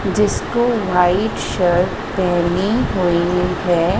जिसको white shirt पहनी हुई है।